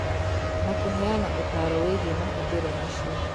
Na kũheana ũtaaro wĩgiĩ mahũthĩro macio